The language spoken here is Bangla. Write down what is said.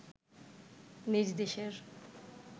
নিজ দেশের